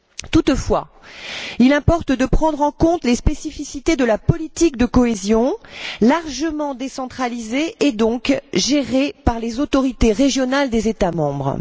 Toutefois, il importe de prendre en compte les spécificités de la politique de cohésion, largement décentralisée, et donc gérée par les autorités régionales des États membres.